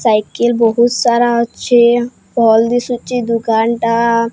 Cycle ବହୁତସାରା ଅଛି ଭଲ୍ ଦିଶୁଚି ଦୋକାନ ଟା।